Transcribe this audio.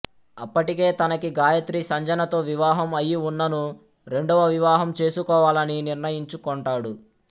అప్పటికే తనకి గాయత్రి సంజనతో వివాహం అయి ఉన్ననూ రెండవ వివాహం చేసుకోవాలని నిర్ణయించుకొంటాడు